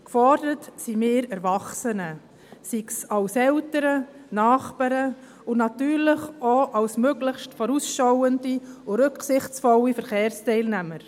Gefordert sind wir Erwachsenen, sei es als Eltern, Nachbarn, und natürlich auch als möglichst vorausschauende und rücksichtsvolle Verkehrsteilnehmer.